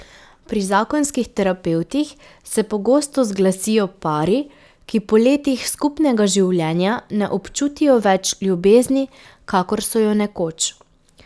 Pri zakonskih terapevtih se pogosto zglasijo pari, ki po letih skupnega življenja ne občutijo več ljubezni, kakor so jo nekoč.